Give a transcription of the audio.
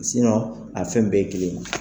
a fɛn bɛɛ ye kelen ye